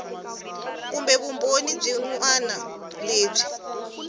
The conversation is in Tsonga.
kumbe vumbhoni byin wana lebyi